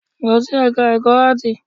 Lọ sí ẹka ẹ̀kọ́ áàtì!